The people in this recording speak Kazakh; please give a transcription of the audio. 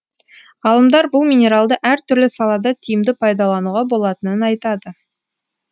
ғалымдар бұл минералды әртүрлі салада тиімді пайдалануға болатынын айтады